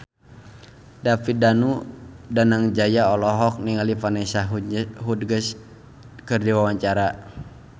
David Danu Danangjaya olohok ningali Vanessa Hudgens keur diwawancara